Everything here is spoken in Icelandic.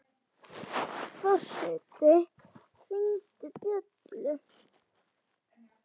Forseti hringdi bjöllu!